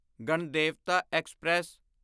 Ganadevata express